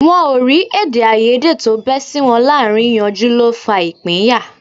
Wọ́n ó rí èdèàìyedè tó bẹ́ sí wọn láàárín yanjú ló fa ìpínyà